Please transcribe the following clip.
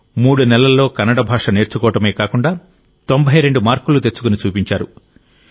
మూడు నెలల్లో కన్నడ భాష నేర్చుకోవడమే కాకుండా 92 మార్కులు తెచ్చుకుని చూపించారు